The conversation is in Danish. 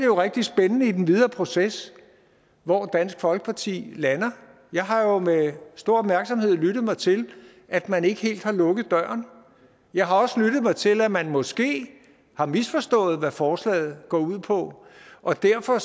jo rigtig spændende i den videre proces hvor dansk folkeparti lander jeg har med stor opmærksomhed lyttet mig til at man ikke helt har lukket døren jeg har også lyttet mig til at man måske har misforstået hvad forslaget går ud på og derfor